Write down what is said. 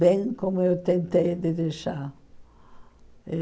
bem como eu tentei de deixar.